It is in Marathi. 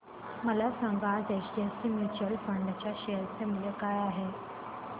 मला सांगा आज एचडीएफसी म्यूचुअल फंड च्या शेअर चे मूल्य काय आहे